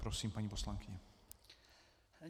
Prosím, paní poslankyně.